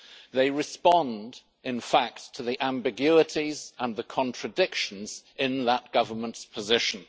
They respond, in fact, to the ambiguities and the contradictions in that Government's position.